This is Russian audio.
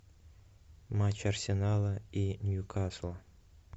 матч арсенала и ньюкасла